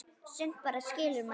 Sumt bara skilur maður ekki.